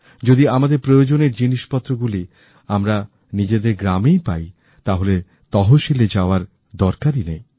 যদি আমাদের প্রয়োজনের জিনিসপত্রগুলি যদি আমরা নিজেদের গ্রামেই পাই তাহলে তহসিলে যাওয়ার দরকার নেই